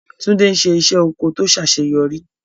Tunde ń ṣe iṣẹ́ oko tó ṣàṣeyọrí.